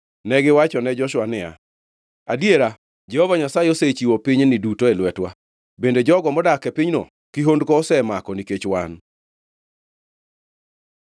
Negiwachone Joshua niya, “Adiera, Jehova Nyasaye osechiwo pinyni duto e lwetwa, bende jogo modak e pinyno kihondko osemako nikech wan.”